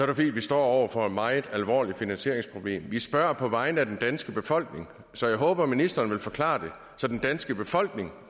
det fordi vi står over for et meget alvorligt finansieringsproblem vi spørger på vegne af den danske befolkning så jeg håber at ministeren vil forklare det så den danske befolkning